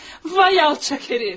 Vay alçaq hərİf.